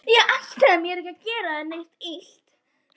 Ég ætlaði mér ekki að gera þér neitt illt.